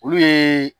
Olu ye